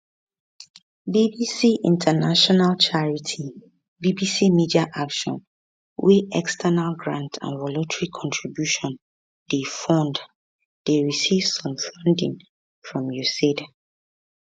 bbc international charity bbc media action wey external grants and voluntary contributions dey fund dey receive some funding from usaid